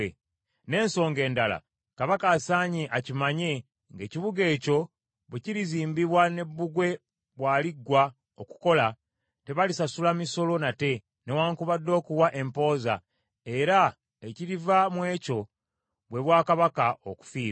Ne nsonga endala, kabaka asaanye akimanye ng’ekibuga ekyo bwe kirizimbibwa ne bbugwe bw’aliggwa okukola, tebalisasula misolo nate, newaakubadde okuwa empooza, era ekiriva mu ekyo bwe bwakabaka okufiirwa.